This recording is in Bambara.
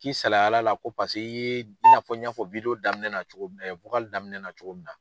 K'i salayala la ko paseke i ye i n'a fɔ n y'a fɔ daminɛ na cogo min na.